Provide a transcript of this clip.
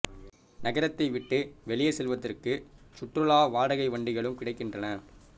நகரத்தை விட்டு வெளியே செல்வதற்கு சுற்றுலா வாடகை வண்டிகளும் கிடைக்கின்றன